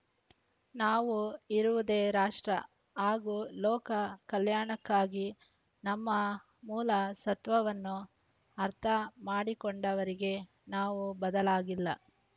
ನಾವು ಇರುವುದೇ ರಾಷ್ಟ್ರ ಹಾಗೂ ಲೋಕ ಕಲ್ಯಾಣಕ್ಕಾಗಿ ನಮ್ಮ ಮೂಲ ಸತ್ವವನ್ನು ಅರ್ಥ ಮಾಡಿಕೊಂಡವರಿಗೆ ನಾವು ಬದಲಾಗಿಲ್ಲ